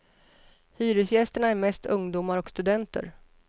Hyresgästerna är mest ungdomar och studenter.